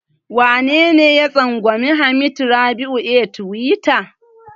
Wanene ya tsangwami Hamad Rabi'u a tiwita?